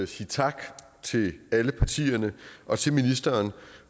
sige tak til alle partierne og til ministeren